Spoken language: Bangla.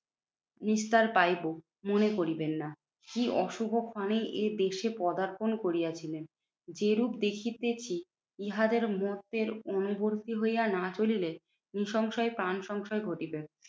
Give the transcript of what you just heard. নিস্তার পাইবো মনে করিবেন না। যেই অশুভ ক্ষনে এই দেশে পদার্পন করিয়াছিলেন। যেরূপ দেখিতেছি ইহাদের মতের অনুবরদী হইয়া না চলিলে নিঃসংশয় প্রাণ সংশয় ঘটিবে।